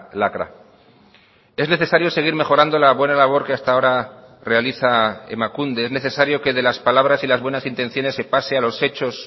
lacra es necesario seguir mejorando la buena labor que hasta ahora realiza emakunde es necesario que de las palabras y las buenas intenciones se pase a los hechos